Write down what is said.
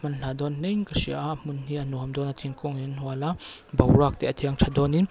manhla dawn hle in ka hria a a hmun hi a nuam dawn a thing hi a hual a boruak te a thiang tha dawn in--